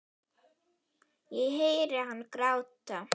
Ég heyri hann gráta.